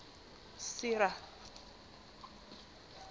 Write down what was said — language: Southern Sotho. sera